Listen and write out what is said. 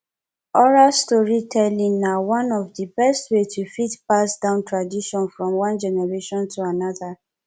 oral storytelling na one of di best way to fit pass down tradition from one generation to another